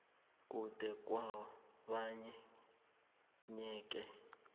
kude kwabanye yeke